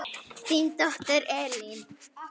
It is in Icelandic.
Þín dóttir, Elín.